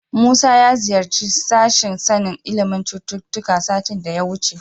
Musa ya ziyarci sashen sanin ilimin cututtuka satin da ya wuce.